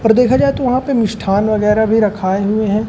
और देखा जाए तो वहां पे मिष्ठान वगैरा भी रखाए हुए है।